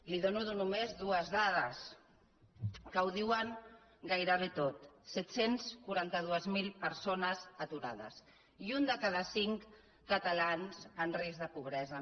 li dono només dues dades que ho diuen gairebé tot set cents i quaranta dos mil persones aturades i un de cada cinc catalans en risc de pobresa